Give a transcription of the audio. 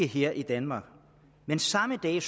her i danmark men samme dag